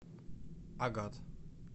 агат